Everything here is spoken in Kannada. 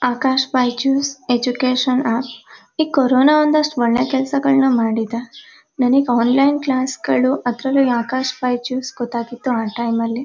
''ಆಕಾಶ್ ಬೈಜುಸ್ ಎಜುಕೇಷನ್ ಆ ಈ ಕೊರೊನ ಒಂದಷ್ಟು ಒಳ್ಳೆ ಕೆಲಸಗಳನ್ನು ಮಾಡಿದೆ ನನಗೆ ಆನ್ಲೈನ್ ಕ್ಲಾಸ್ ಗಳು ಅದರಲ್ಲೂ ಆಕಾಶ್ ಬೈಜುಸ್ ಗೊತ್ತಾಗಿದ್ದು ಆ ಟೈಮ್ ಅಲ್ಲೆ .''